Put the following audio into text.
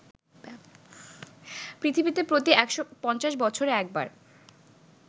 পৃথিবীতে প্রতি ১৫০ বছরে একবার